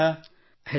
badminton